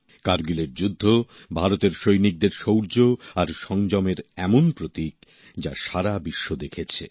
কারগিলের যুদ্ধ ভারতের সৈনিকদের শৌর্য আর সংযমের এমন প্রতীক যা সারা বিশ্ব দেখেছে